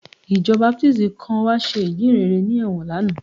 Ìjọ Baptist kan wá ṣe ìjíhìnrere ní ẹ̀wọ̀n lánàá